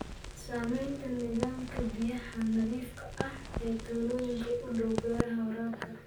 Saamaynta nidaamka biyaha nadiifka ah ee tuulooyinka u dhow beeraha waraabka.